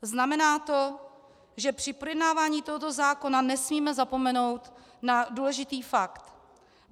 Znamená to, že při projednávání tohoto zákona nesmíme zapomenout na důležitý fakt.